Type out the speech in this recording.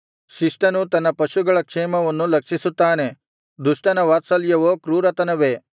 ಶಿಷ್ಟನು ತನ್ನ ಪಶುಗಳ ಕ್ಷೇಮವನ್ನು ಲಕ್ಷಿಸುತ್ತಾನೆ ದುಷ್ಟನ ವಾತ್ಸಲ್ಯವೋ ಕ್ರೂರತನವೇ